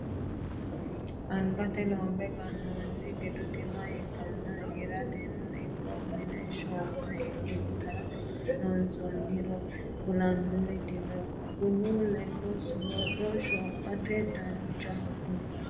Angatenni loombe ganoni gidu tima ikkanna hirateno ikko mine shooma intara loonsonniro kulanori dino bunu ledo soodo shomate danchaho kuni